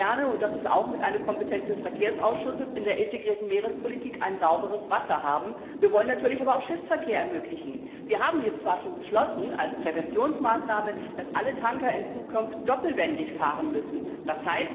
Wir wollen gerne und das ist auch mit eine Kompetenz des Verkehrsausschusses in der integrierten Meerespolitik sauberes Wasser haben. Wir wollen aber natürlich auch Schiffsverkehr ermöglichen. Wir haben jetzt zwar schon als Präventionsmaßnahme beschlossen, dass alle Tanker in Zukunft doppelwandig fahren müssen, d.